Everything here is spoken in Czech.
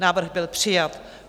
Návrh byl přijat.